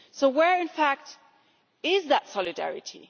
So where in fact is that solidarity?